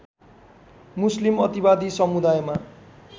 मुस्लिम अतिवादी समुदायमा